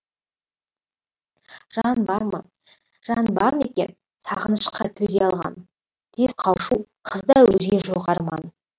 жан бар ма жан бар ма екен сағынышқа төзе алған тез қауышу қызда өзге жоқ арман